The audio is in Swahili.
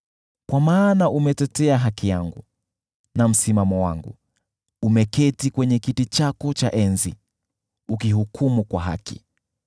Kwa maana umetetea haki yangu na msimamo wangu; umeketi kwenye kiti chako cha enzi, ukihukumu kwa haki.